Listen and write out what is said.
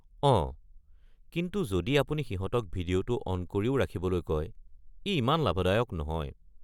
অঁ, কিন্তু যদি আপুনি সিহঁতক ভিডিঅ’টো অন কৰিও ৰাখিবলৈ কয়, ই ইমান লাভদায়ক নহয়।